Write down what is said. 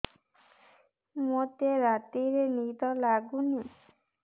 ମୋତେ ରାତିରେ ନିଦ ଲାଗୁନି